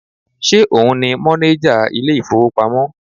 Ṣe òun ni mọ́néjà ilé ìfowópamọ́?